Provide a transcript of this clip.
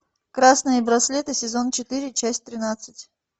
красные браслеты сезон четыре часть тринадцать